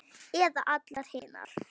Eða allar hinar?